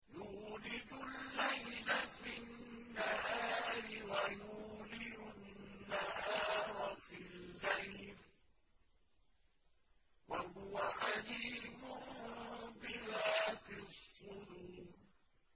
يُولِجُ اللَّيْلَ فِي النَّهَارِ وَيُولِجُ النَّهَارَ فِي اللَّيْلِ ۚ وَهُوَ عَلِيمٌ بِذَاتِ الصُّدُورِ